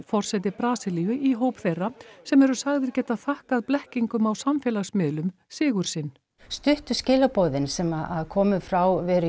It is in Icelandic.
forseti Brasilíu í hóp þeirra sem eru sagðir geta þakkað blekkingum á samfélagsmiðlum sigur sinn stuttu skilaboðin sem komu frá Veru